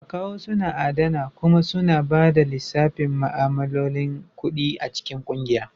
Akawu suna adana kuma suna ba da lissafin ma'amalolin kuɗi a cikin kungiya.